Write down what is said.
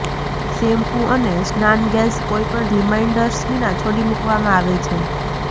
shampoo અને સ્નાનગેલ્સ કોઈપણ રીમાઇન્ડર્સ વિના છોડી મૂકવામાં આવે છે